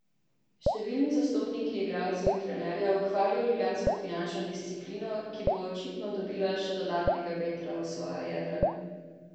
Številni zastopniki igralcev in trenerjev hvalijo ljubljansko finančno disciplino, ki bo očitno dobila še dodatnega vetra v svoja jadra.